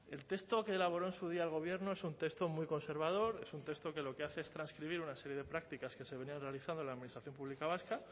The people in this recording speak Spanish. el texto que elaboró en su día el gobierno es un texto muy conservador es un texto que lo que hace es transcribir una serie de prácticas que se venían realizando en la administración pública vasca